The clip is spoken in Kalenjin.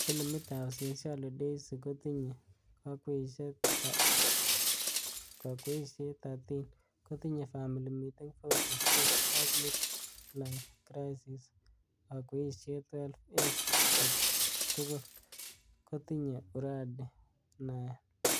Filimit ab Sincerely Daisy kotinye kakweishet 13, kotinye Family Meeting, 40 Sticks ak Midlife Crisis kakweishet 12 age togul ,kotinyei Uradi 9.